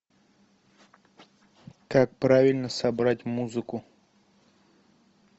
как правильно собрать музыку